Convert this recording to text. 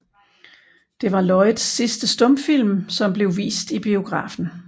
Det var Lloyds sidste stumfilm som blev vist i biografen